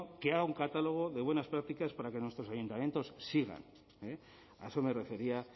que haga un catálogo de buenas prácticas para que nuestros ayuntamientos sigan eh a eso me refería